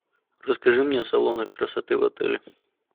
расскажи мне о салонах красоты в отеле